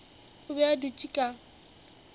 o be a dutše ka